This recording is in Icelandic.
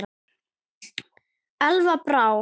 Elva Brá.